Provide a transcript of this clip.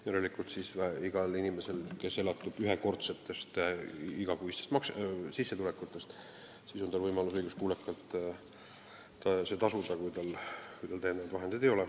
Järelikult on igal inimesel, kes elatub ühekordsetest igakuistest sissetulekutest ja kellel täiendavaid vahendeid ei ole, võimalus trahv õiguskuulekalt tasuda.